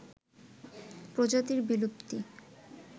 প্রজাতির বিলুপ্তি